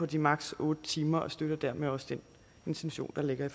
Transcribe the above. de maksimum otte timer og støtter dermed også den intention der ligger